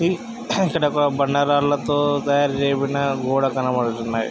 ఈ ఇక్కడ ఒక బండరాళ్లతో తయారుచేయబడిన గోడ కనబడుతున్నాయ్.